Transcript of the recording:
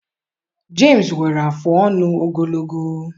Jemịs nwere afụ ọnụ ogologo.